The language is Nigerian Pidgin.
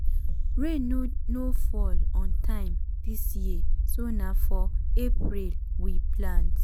rain no fall on time dis year so na for april we plant.